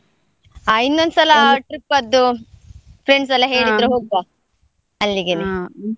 ಹಾ ಇನ್ನೊಂದ್ trip ದ್ದು friends ಹೋಗುವ .